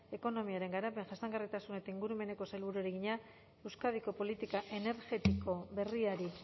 ekonomiaren garapen jasangarritasun eta ingurumeneko sailburuari egina euskadiko politika energetiko berriari